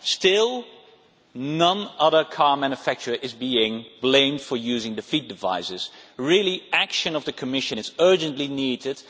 Still, no other car manufacturer is being blamed for using defeat devices, and action by the Commission is urgently needed.